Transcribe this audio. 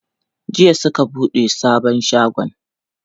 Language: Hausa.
Jiya suka buɗe sabon shagon.